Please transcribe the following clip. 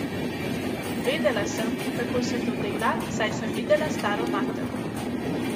Vedela sem, kako se to dela, saj sem videla staro mater.